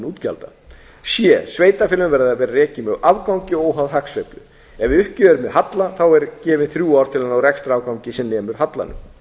útgjalda c sveitarfélögin verða a a rekin með afgangi óháð hagsveiflu ef uppgjörið er með halla eru gefin þrjú ár til að ná rekstrarafgangi sem nemur hallanum